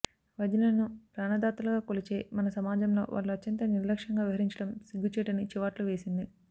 వైద్యులను ప్రాణ దాతలుగా కొలిచే మన సమాజంలో వాళ్లు అత్యంత నిర్లక్ష్యంగా వ్యవహరించడం సిగ్గు చేటని చివాట్లు వేసింది